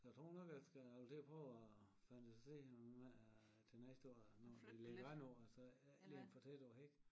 Så a tror nok a skal a vil til og prøve og fantasere om æ til næste år når det bliver januar og så ikke ligge dem for tæt å a hæk